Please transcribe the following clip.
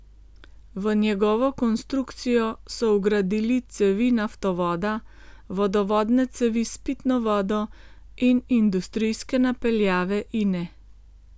V njegovo konstrukcijo so vgradili cevi naftovoda, vodovodne cevi s pitno vodo in industrijske napeljave Ine.